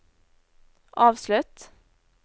avslutt